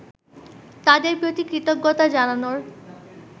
তাদের প্রতি কৃতজ্ঞতা জানানোর